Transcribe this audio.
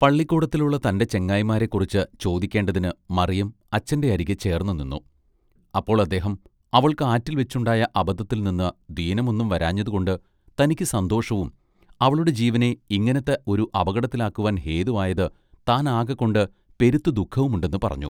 പള്ളിക്കൂടത്തിലുള്ള തന്റെ ചെങ്ങായിമാരെക്കുറിച്ച് ചോദിക്കേണ്ടതിന് മറിയം അച്ഛന്റെ അരികെ ചേർന്നുനിന്നു അപ്പോൾ അദ്ദേഹം അവൾക്ക് ആറ്റിൽ‌വെച്ചുണ്ടായ അബദ്ധത്തിൽനിന്ന് ദീനം ഒന്നും വരാഞ്ഞതുകൊണ്ട് തനിക്ക് സന്തോഷവും അവളുടെ ജീവനെ ഇങ്ങിനത്ത ഒരു അപകടത്തിലാക്കുവാൻ ഹേതുവായത് താനാകകൊണ്ട് പെരുത്ത് ദുഃഖവുമുണ്ടെന്ന് പറഞ്ഞു.